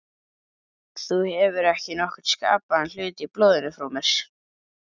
Þú hefur ekki nokkurn skapaðan hlut í blóðinu frá mér.